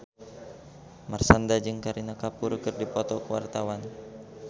Marshanda jeung Kareena Kapoor keur dipoto ku wartawan